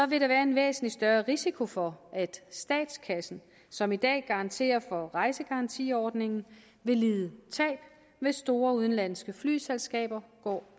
vil der være en væsentlig større risiko for at statskassen som i dag garanterer for rejsegarantiordningen vil lide tab hvis store udenlandske flyselskaber går